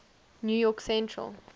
new york central